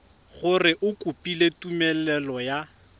gore o kopile tumelelo ya